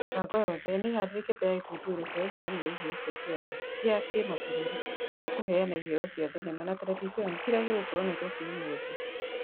Mĩbango yothe nĩharĩrĩkĩte ya gĩkũngũĩro kĩa ũheani wa iheo cia kĩama kĩa kĩmabũrũri kĩa kũheana iheo cia thenema na terevishoni kĩrĩa gĩgũkorwo Nairobi ũmothĩ.